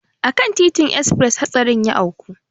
A kan titin esfres hatsarin ya auku.